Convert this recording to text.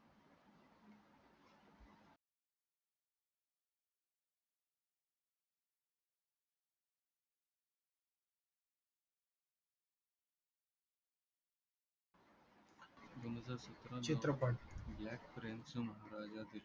चित्रपट